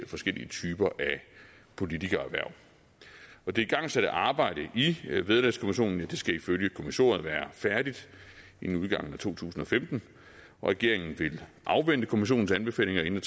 forskellige typer af politikererhverv det igangsatte arbejde i vederlagskommissionen skal ifølge kommissoriet være færdigt inden udgangen af to tusind og femten regeringen vil afvente kommissionens anbefalinger inden